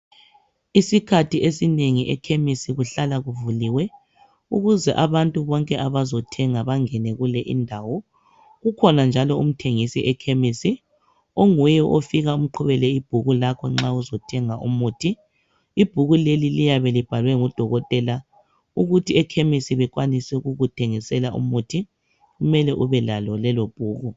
Isikhathi esinengi ekhemisi kuhlala kuvuliwe ukuze abantu bonke abazothenga bangene kule indawo. Kukhona njalo umthengisi ekhemisi onguye ofika umqubele ibhuku lakho nxa uzothenga umuthi. Ibhuku leli liyabe libhalwe ngudokotela ukuthi ekhemisi bekwanise ukukuthengisela umuthi kumele ubelalo lelobhuku.